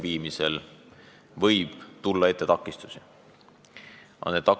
Piiriehituseks eraldatud vahendid ei ole kuidagi kooskõlas sellega, mida mõni aasta tagasi sai planeeritud.